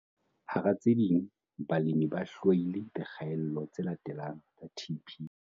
Hara tse ding, balemi ba hlwaile dikgaello tse latelang tsa TP.